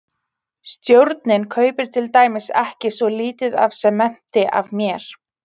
Stjórnin kaupir til dæmis ekki svo lítið af sementi af mér.